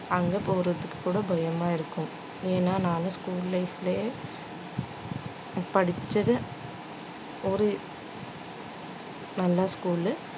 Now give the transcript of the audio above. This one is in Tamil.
அங்க போறதுக்குக் கூட பயமாயிருக்கும் ஏன் நானு school life லே படிச்சது ஒரு நல்ல school லு